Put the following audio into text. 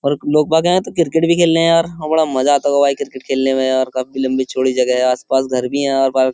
और लोग बाग है तो क्रिकेट भी खेलने हैं यार बड़ा मजा आता होगा भाई क्रिकेट खेलने में और काफी लंबी चौड़ी जगह है आसपास घर भी है और --